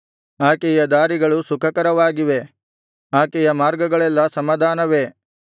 ಆಕೆಯ ದಾರಿಗಳು ಸುಖಕರವಾಗಿವೆ ಆಕೆಯ ಮಾರ್ಗಗಳೆಲ್ಲಾ ಸಮಾಧಾನವೇ